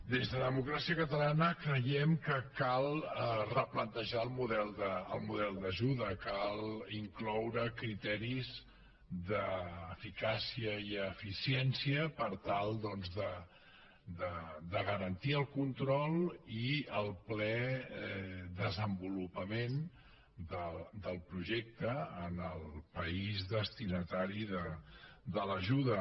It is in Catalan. des de la democràcia catalana creiem que cal replantejar el model d’ajuda cal incloure hi criteris d’eficàcia i eficiència per tal doncs de garantir el control i el ple desenvolupament del projecte en el país destinatari de l’ajuda